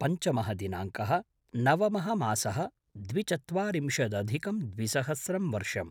पञ्चमः दिनाङ्कः - नवमः मासः - द्विचत्वारिंशदधिकं द्विसहस्रं वर्षम्